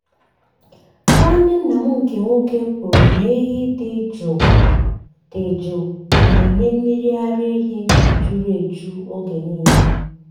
nwanne nna m nkè nwoke kwuru na ehi dị jụụ dị jụụ na-enye mmiri ara ehi juru eju oge niile.